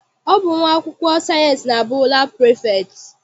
Ọ bụ nwa akwụkwọ sayịensị na-abụ laabụ prefektị.